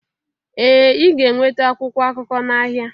Ee Ị ga-enweta akwụkwọ akụkọ n'ahịa